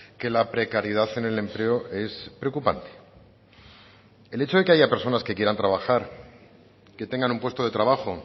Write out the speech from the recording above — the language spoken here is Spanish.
que la precariedad en el empleo es preocupante el hecho de que haya personas que quieran trabajar que tengan un puesto de trabajo